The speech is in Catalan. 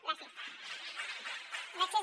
gràcies